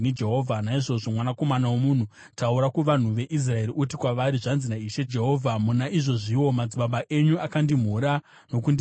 “Naizvozvo, mwanakomana womunhu, taura kuvanhu veIsraeri uti kwavari, ‘Zvanzi naIshe Jehovha: Muna izvozviwo madzibaba enyu akandimhura nokundisiya: